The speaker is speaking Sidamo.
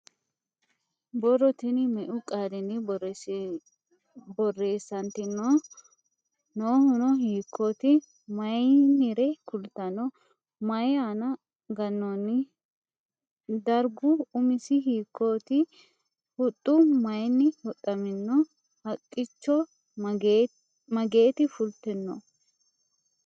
Borro tini meu qaalinni borreessanitinno? Noohunno hiikkotti? Mayiinire kulittanno? Mayi aanna ganoonni? Darigu umisi hiikkotti? Huxxu mayiinni huxamminno? Haqichcho mageetti fulittinno?